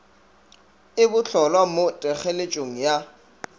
e bohlolwa mo thekgeletšong ya